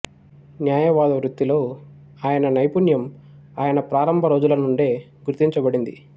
న్యాయవాద వృత్తిలో ఆయన నైపుణ్యం ఆయన ప్రారంభ రోజుల నుండే గుర్తించబడింది